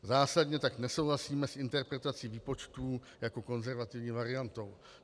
Zásadně tak nesouhlasíme s interpretací výpočtů jako konzervativní variantou.